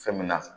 Fɛn min na